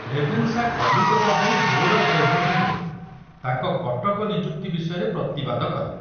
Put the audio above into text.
Ravenshaw Calcutta ଯାଇ board of ରେଭେନ୍ୟୁରେ ତାଙ୍କ କଟକ ନିଯୁକ୍ତି ବିଷୟରେ ପ୍ରତିବାଦ କଲେ।